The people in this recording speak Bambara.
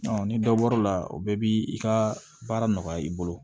ni dɔ bɔr'o la o bɛɛ bi i ka baara nɔgɔya i bolo